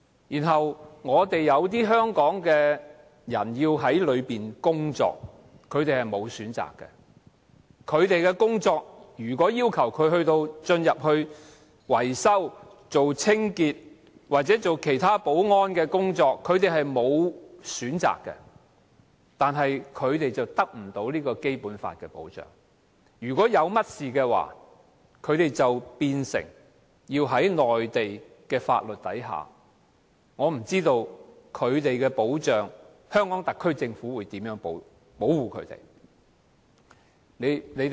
如果他們的工作要求他們進入內地口岸區從事維修、清潔或保安工作，他們是沒有選擇的，但卻得不到《基本法》的保障，一旦有事發生，他們便要受內地法律的限制，我不知道香港特區政府會如何保護他們。